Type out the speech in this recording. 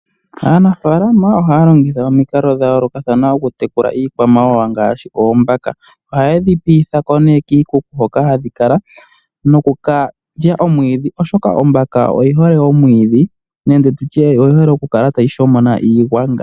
Aanafalama ohaya longitha omikalo dhayoloka kathana okutekula iikwamawawa ngashi oombaka, ohaye dhi piithako ne kiikuku hoka hadhi kala noku kalya omwiidhi oshoka Ombaka oyihole omwiidhi nenge nditye oyihole okukala tayi shomona iigwanga.